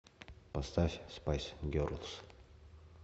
поставь спайс герлс